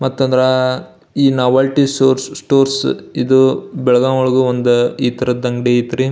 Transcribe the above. ಮತ್ತ್ ಅಂದ್ರ ಈ ನಾವೆಲ್ಟಿ ಸ್ಟೋರ್ಸ್ ಇದು ಬೆಳಗಾಂ ಒಳಗು ಒಂದ್ ಈ ತರದ ಅಂಗಡಿ ಅಯ್ತ್ರಿ.